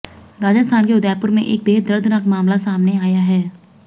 राजस्थान के उदयपुर में एक बेहद दर्दनाक मामला सामने आया है